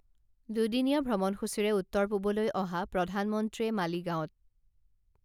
দুদিনীয়া ভ্ৰমণসূচীৰে উত্তৰ পূৱলৈ অহা প্ৰধানমন্ত্ৰীয়ে মালিগাঁৱত